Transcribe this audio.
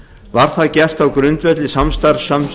var það gert á grundvelli samstarfssamnings